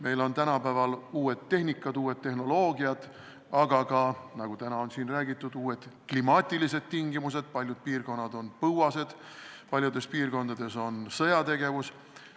Meil on tänapäeval uued tehnikad, uued tehnoloogiad, aga ka, nagu täna on siin räägitud, uued klimaatilised tingimused – paljud piirkonnad on põuased –, paljudes piirkondades aga on sõjategevus.